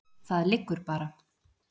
Það liggur bara.